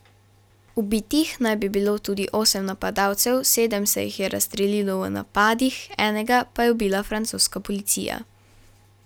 Ubitih naj bi bilo tudi osem napadalcev, sedem se jih je razstrelilo v napadih, enega pa je ubila francoska policija.